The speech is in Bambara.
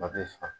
A bɛ fa